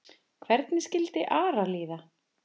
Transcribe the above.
Hvernig skildi Ara líða?